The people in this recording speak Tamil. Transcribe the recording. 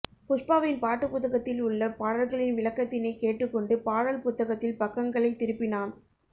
புஷ்பாவின் பாட்டு புத்தகத்தில் உள்ள பாடல்களின் விளக்கத்தினைக் கேட்டுக் கொண்டு பாடல் புத்தகத்தில் பக்கங்களை திருப்பினான்